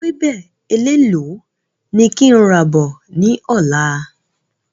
Ewébẹ̀ elélò ni kí n rà bọ̀ ni ọ̀la?